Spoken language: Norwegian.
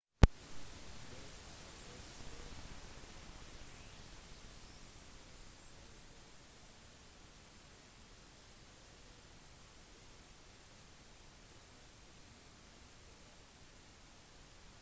det er også mindre tidsbegrensninger og det er mulig med mer varierte arbeidstider. bremer 1998